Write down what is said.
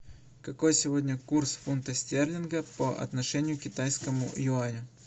какой сегодня курс фунта стерлинга по отношению к китайскому юаню